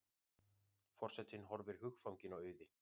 Forsetinn horfir hugfanginn á Auði.